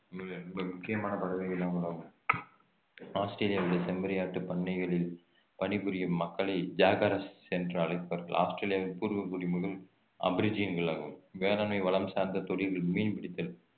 முக்கியமான பறவை இனங்களாகும் ஆஸ்திரேலியாவில் உள்ள செம்மறி ஆட்டு பண்ணைகளில் பணிபுரியும் மக்களை ஜாகரஸ் என்று அழைப்பார்கள் ஆஸ்திரேலியாவின் பூர்வகுடி மக்கள் வேளாண்மை வளம் சார்ந்த தொழில்கள் மீன் பிடித்தல்